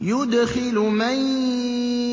يُدْخِلُ مَن